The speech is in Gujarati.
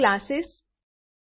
classes objects